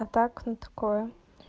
от акне такое